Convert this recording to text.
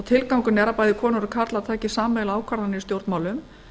tilgangurinn er að konur og karlar taki sameiginlega ákvarðanir í stjórnmálum